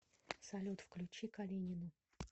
салют включи калинину